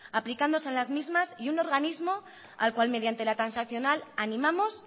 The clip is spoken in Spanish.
aplicándose las mismas y un organismo al cual mediante la transaccional animamos